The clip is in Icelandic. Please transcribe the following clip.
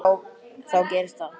En þá gerðist það.